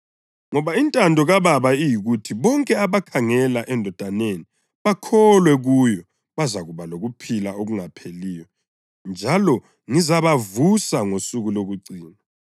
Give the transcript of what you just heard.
Ngoba intando kaBaba iyikuthi bonke abakhangela eNdodaneni bakholwe kuyo bazakuba lokuphila okungapheliyo njalo ngizabavusa ngosuku lokucina.”